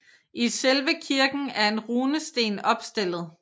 I selve kirken er en runesten opstillet